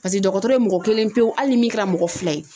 Paseke dɔgɔtɔrɔ ye mɔgɔ kelen pewu hali min kɛra mɔgɔ fila ye